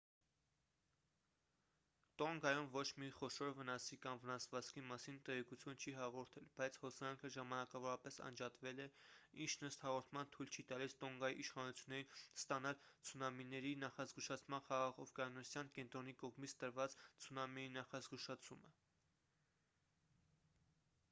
տոնգայում ոչ մի խոշոր վնասի կամ վնասվածքի մասին տեղեկություն չի հաղորդել բայց հոսանքը ժամանակավորապես անջատվել է ինչն ըստ հաղորդման թույլ չի տալիս տոնգայի իշխանություններին ստանալ ցունամիների նախազգուշացման խաղաղօվկիանոսյան կենտրոնի կողմից տրված ցունամիի նախազգուշացումը